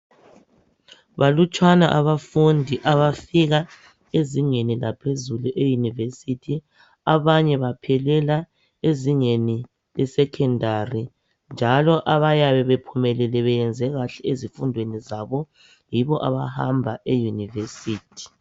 Balutshwana abafundi abafika ezingeni laphezulu e University. Abanye baphelela ezingeni lesecondary . Njalo abayabe bephumelele beyenze kahle ezifundweni zabo yibo abahamba e University.